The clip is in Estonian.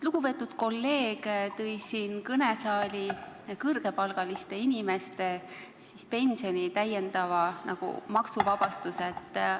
Lugupeetud kolleeg tõi siia saali kõrgepalgaliste inimeste pensioni täiendava maksuvabastuse teema.